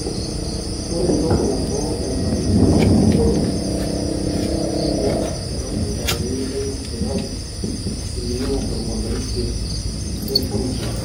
ore entoki nabo naibalie naa njere arriyiak lelo dakitarini leina sipitali asilimia tomon oisiet wempoint nabo